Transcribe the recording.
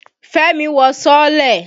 Fẹ́mi wọ sọ́ọ́lẹ̀.